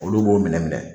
Olu b'o minɛ minɛ